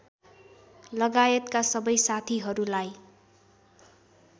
लगायतका सबै साथीहरूलाई